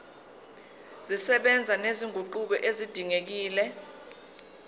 zisebenza nezinguquko ezidingekile